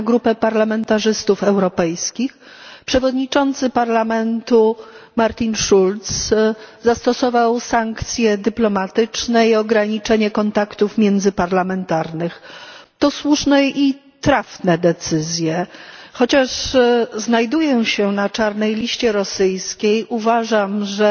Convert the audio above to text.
na grupę parlamentarzystów europejskich, przewodniczący Parlamentu Martin Schulz zastosował sankcje dyplomatyczne i ograniczenie kontaktów międzyparlamentarnych. To słuszne i trafne decyzje. Chociaż znajduję się na czarnej liście rosyjskiej, uważam, że